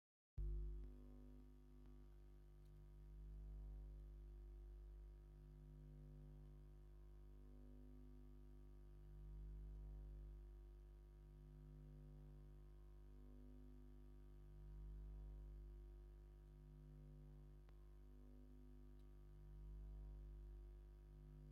እዚ ብኢድ ዝተሰርሐ፣ ብዙሕ ሕብሪ ዘለዎ ባህላዊ መሶብ ኢትዮጵያ። መሶብ ባህላዊ መኽዘን እንጀራ ኢትዮጵያ እዩ፤ ስድራቤትን ኣጋይሽን ተኣኪቦም እንጀራን ሽሮን ዝበልዑሉ ናይ ሓባር ኣገልግሎት ዝህብ እዩ። እዚ ባህላዊ መሶብ ኢትዮጵያ ሽሙ እንታይ ይበሃል?